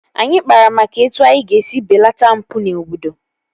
Anyị kpara maka etu anyị ga-esi belata mpụ n'obodo